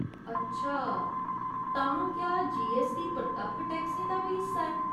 अच्छा, तां क्या जीऐस्सटी परतक्ख टैक्सें दा बी हिस्सा ऐ ?